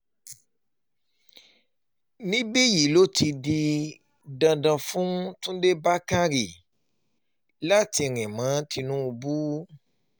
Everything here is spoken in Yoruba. níbí yìí ló ti um di dandan fún túnde bàkórè láti rìn um mọ́ tinubu